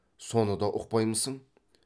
соны да ұқпаймысың